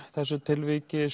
þessu tilviki